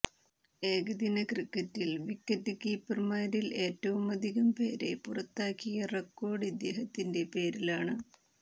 ഏകദിന ക്രിക്കറ്റിൽ വിക്കറ്റ് കീപ്പർമാരിൽ ഏറ്റവുമധികം പേരെ പുറത്താക്കിയ റെക്കോർഡ് ഇദ്ദേഹത്തിന്റെ പേരിലാണ്